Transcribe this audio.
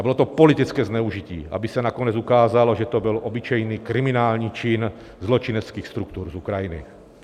A bylo to politické zneužití, aby se nakonec ukázalo, že to byl obyčejný kriminální čin zločineckých struktur z Ukrajiny.